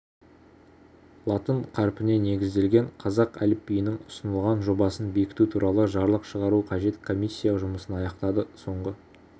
латын қарпіне негізделген қазақ әліпбиінің ұсынылған жобасын бекіту туралы жарлық шығару қажет комиссия жұмысын аяқтады соңғы